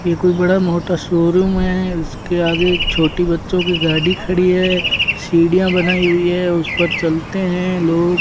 ये कोई बड़ा मोटा शोरूम है उसके आगे एक छोटी बच्चों की गाड़ी खड़ी हैं सीढ़ियाँ बनाई हुई है उस पर चलते हैं लोग --